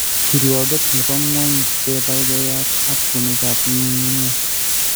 Kirwooget ne po ng'wony: chebaigeiyat ak puunigap ng'ung'unyek.